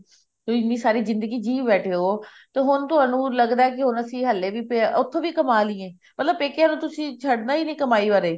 ਤੇ ਇੰਨੀ ਸਾਰੀ ਜਿੰਦਗੀ ਜੀ ਬੈਠੇ ਹੋ ਤੇ ਹੁਣ ਤੁਹਾਨੂੰ ਲੱਗਦਾ ਹੁਣ ਅਸੀਂ ਹਲੇ ਵੀ ਉੱਥੋਂ ਵੀ ਕਮਾ ਲਈਏ ਮਤਲਬ ਪੇਕਿਆਂ ਨੂੰ ਤੁਸੀਂ ਛੱਡਣਾ ਹੀ ਨਹੀਂ ਕਮਾਈ ਵਾਰੇ